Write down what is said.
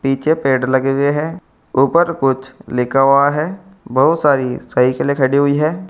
पीछे पेड़ लगे हुए हैं ऊपर कुछ लिखा हुआ है बहुत सारी साइकिलें खड़ी हुई हैं।